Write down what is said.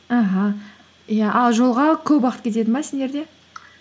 аха иә ал жолға көп уақыт кетеді ме сендерде